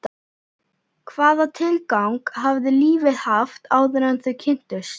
Hvaða tilgang hafði lífið haft áður en þau kynntust?